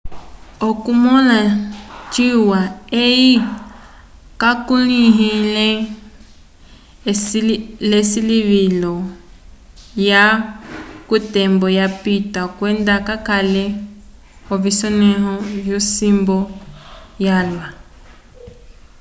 okumõla ciwa eye kakulĩhiwile l'esilivilo lyalwa k'otembo yapita kwenda kakalele k'ovisonẽho vyosimbu yalwa